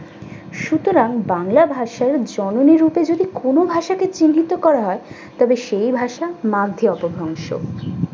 সুতরাং বাংলা ভাষার জননী রূপে যদি কোন ভাষাকে চিহ্নিত করা হয় তবে সেই ভাষা মারথি অপরাংশ।